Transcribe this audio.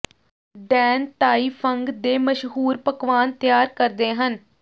Dan Tai Fung ਦੇ ਮਸ਼ਹੂਰ ਪਕਵਾਨ ਤਿਆਰ ਕਰਦੇ ਹਨ